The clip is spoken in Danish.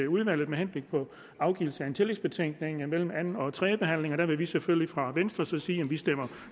udvalget med henblik på afgivelse af en tillægsbetænkning mellem anden og tredje behandling der vil vi selvfølgelig fra venstres side sige at vi stemmer